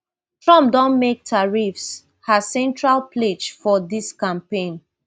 trump don make tariffs her central pledge for dis campaign